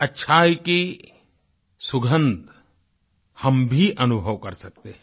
अच्छाई की सुगंध हम भी अनुभव कर सकते हैं